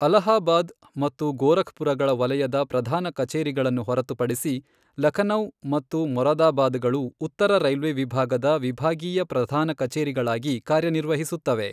ಅಲಹಾಬಾದ್ ಮತ್ತು ಗೋರಖ್ಪುರಗಳ ವಲಯದ ಪ್ರಧಾನ ಕಚೇರಿಗಳನ್ನು ಹೊರತುಪಡಿಸಿ, ಲಖನೌ ಮತ್ತು ಮೊರಾದಾಬಾದಗಳು ಉತ್ತರ ರೈಲ್ವೆ ವಿಭಾಗದ ವಿಭಾಗೀಯ ಪ್ರಧಾನ ಕಚೇರಿಗಳಾಗಿ ಕಾರ್ಯನಿರ್ವಹಿಸುತ್ತವೆ.